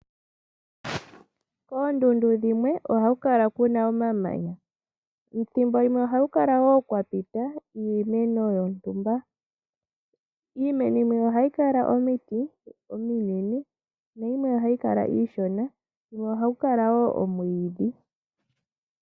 Koondundu dhimwe ohaku kala kuna omamanya, thimbo limwe ohaku kala wo kwa pita iimeno yontumba, iimeno yimwe ohayi Kala omiti ominene , yimwe iishona. Ohaku kala wo omwiidhi.